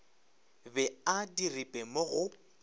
be a diripe mo go